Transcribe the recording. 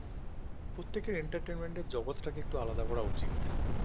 প্রত্যেকের entertainment এর জগৎটাকে একটু আলাদা করা উচিত